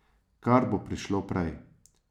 Kar bo prišlo prej.